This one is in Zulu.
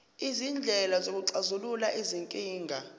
izindlela zokuxazulula izinkinga